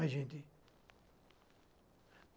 Ai, gente.